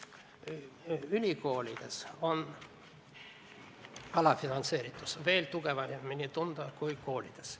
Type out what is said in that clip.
Ülikoolides on alafinantseeritus veel tugevamini tunda kui koolides.